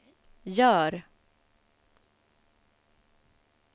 gör